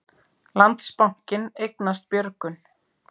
Landsbankinn eignast Björgun